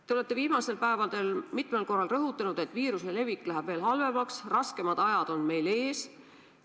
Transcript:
Te olete viimastel päevadel mitmel korral rõhutanud, et viiruse levik läheb veel halvemaks, raskemad ajad on meil ees.